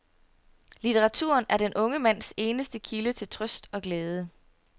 Litteraturen er den unge mands eneste kilde til trøst og glæde.